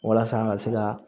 Walasa an ka se ka